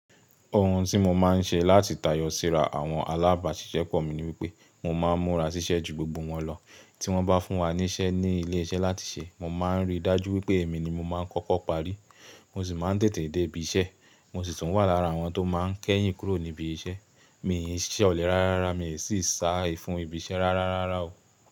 Ohun tí mo máa ń ṣe láti tayọ síra àwọn alábàáṣiṣẹ́pọ̀ mi ni wípé mo máa ń múra ṣiṣẹ́ ju gbogbo wọn lọ. Tí wón bá fún wa níṣẹ́ ní ilé iṣẹ́ láti ṣe, mo máa ń rí dájú wípé èmi ni mo máa ń kọ́kọ́ parí. Mo sì máa ń tètè dé ibi iṣẹ́, mo sì tún wà lára àwọn tó máa ń kẹ́yìn kúrò níbi iṣẹ́. Mi ò ṣẹlẹ̀ rárárá, mi ò sì sá ẹfun ibi iṣẹ́ rárárárá o.